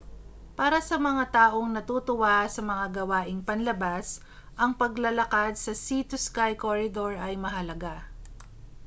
para sa mga taong natutuwa sa mga gawaing panlabas ang paglalakad sa sea to sky corridor ay mahalaga